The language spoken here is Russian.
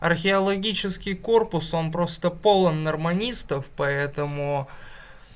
археологический корпус он просто полон норманистов поэтому